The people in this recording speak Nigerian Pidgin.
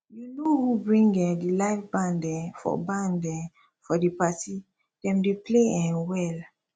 you know who bring um di live band um for band um for di party dem dey play um well